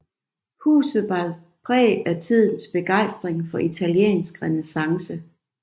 Huset bar præg af tidens begejstring for italiensk renæssance